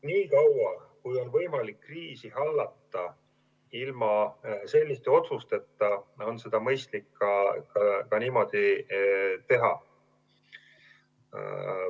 Nii kaua kui on võimalik kriisi hallata ilma selliste otsusteta, on seda mõistlik ka niimoodi teha.